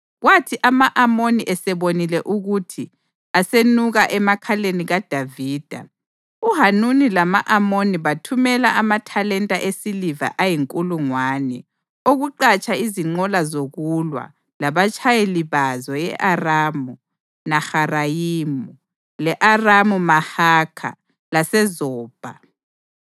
Kwathi ama-Amoni esebonile ukuthi asenuka emakhaleni kaDavida, uHanuni lama-Amoni bathumela amathalenta esiliva ayinkulungwane okuqhatsha izinqola zokulwa labatshayeli bazo e-Aramu Naharayimu, le-Aramu-Mahakha laseZobha.